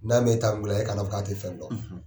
N'an mɛ e ta e k'a dɔn k'a tɛ fɛn dɔn.